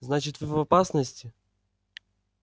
значит вы в опасности